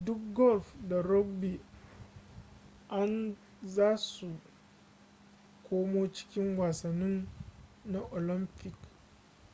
duka golf da rugby an za su komo cikin wasannin na olamfik